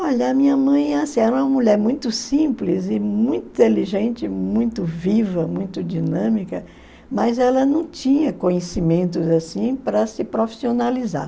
Olha, a minha mãe é assim, ela é uma mulher muito simples e muito inteligente, muito viva, muito dinâmica, mas ela não tinha conhecimentos assim para se profissionalizar.